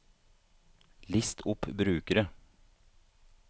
list opp brukere